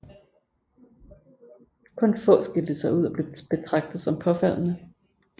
Kun få skilte sig ud og blev betragtet som påfaldende